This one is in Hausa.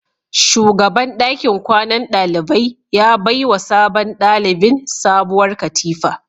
Shugaban dakin kwanan dalibai ya baiwa sabon dalibin sabuwar katifa